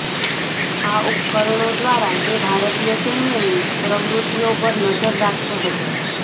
આ ઉપકરણો દ્વારા તે ભારતીય સૈન્યની પ્રવૃત્તિઓ પર નજર રાખતો હતો